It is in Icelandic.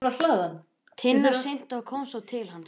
Tinna synti og kom svo til hans.